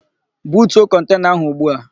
Butuo kọntena áhụ̀ ugbu a!